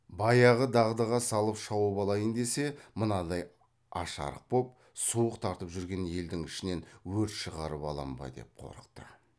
баяғы дағдыға салып шауып алайын десе мынадай аш арық боп суық тартып жүрген елдің ішінен өрт шығарып алам ба деп қорықты